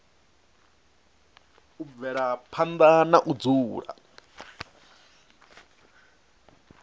u bvela phanda na dzula